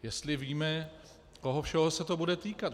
Jestli víme, koho všeho se to bude týkat?